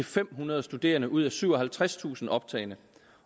fem hundrede studerende ud af syvoghalvtredstusind optagne